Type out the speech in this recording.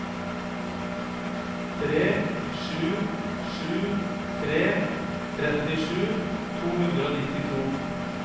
tre sju sju tre trettisju to hundre og nittito